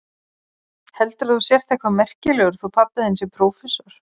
Heldurðu að þú sért eitthvað merkilegur þótt pabbi þinn sé prófessor.